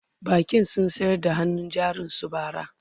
bankin sun sayar da hannun jarin su bara